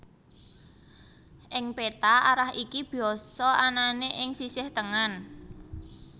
Ing péta arah iki biasa anané ing sisih tengen